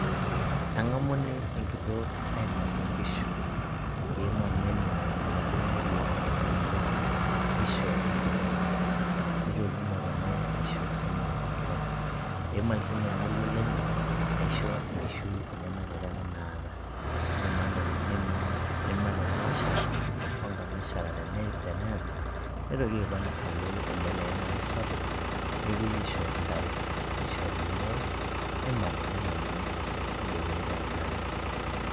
Eng'amuni enkitok aimal toonkishu. Eimany menye oladuo moruo oema ninye, nisho enkiteng'. Nitoki ng'otonye aisho sininye enkiteng'. Eimany sinye ormoruo lenye, aisho inkishu enyanak apake naata. Nimany ilalashera, onkanashara teneeta, nitoki aipang' alo ele likae marei sapuk, nepoi aisho intare. Nishori nereu, nimali neng'amuni, nejokini taa enaang'.